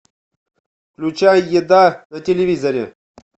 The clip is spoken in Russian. включай еда на телевизоре